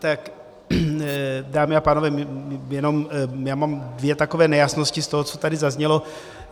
Tak, dámy a pánové, já mám dvě takové nejasnosti z toho, co tady zaznělo.